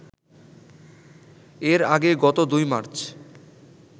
এর আগে গত ২ মার্চ